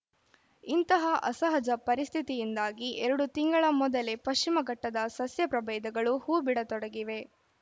ಇಂತಹ ಅಸಹಜ ಪರಿಸ್ಥಿತಿಯಿಂದಾಗಿ ಎರಡು ತಿಂಗಳ ಮೊದಲೇ ಪಶ್ಚಿಮ ಘಟ್ಟದ ಸಸ್ಯ ಪ್ರಭೇದಗಳು ಹೂಬಿಡತೊಡಗಿವೆ